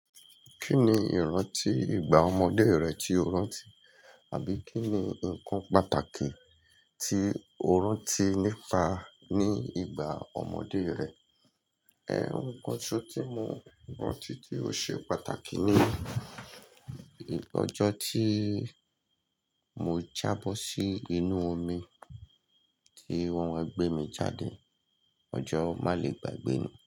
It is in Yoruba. Kí ni ìrántí ìgbà ọmọdé rẹ tí o rántí? Àbí kí ni nǹkan pàtàkì tí o rántí nípa ní ìgbà ọmọdé rẹ? Ẹ̀ ń, oun kan so tí mo rántí tí ó ṣe pàtàkì ni ọjọ́ tí mo jábọ́ sí inú omi tí won wa gbẹ́ mi jáde, ọjọ́ má le gbàgbé ni.